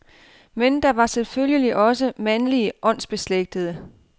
Men der var selvfølgelig også mandlige åndsbeslægtede.